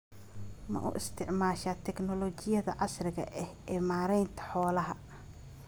Ma u isticmaashaa tignoolajiyada casriga ah ee maaraynta xoolaha?